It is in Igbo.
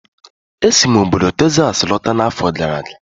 E si m obodo Texas lọta n'afọ gara aga